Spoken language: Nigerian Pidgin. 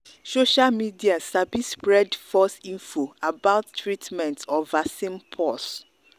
social media sabi spread false info about treatments or vaccine pause